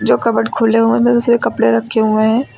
Cupboard खुले हुए है कपड़े रखे हुए हैं।